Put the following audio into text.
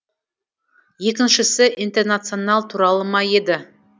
екіншісі интернационал туралы ма еді